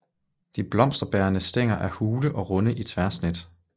De blomsterbærende stængler er hule og runde i tværsnit